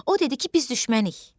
O dedi ki, biz düşmənik.